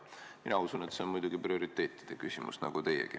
Mina usun nagu teiegi, et see on muidugi prioriteetide küsimus.